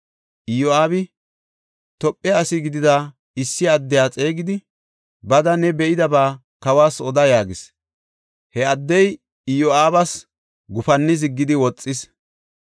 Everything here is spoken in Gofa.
Iyo7aabi Tophe asi gidida issi addiya xeegidi, “Bada, ne be7idaba kawas oda” yaagis. He addey Iyo7aabas gufanni ziggidi woxis.